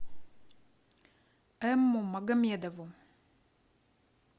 эмму магомедову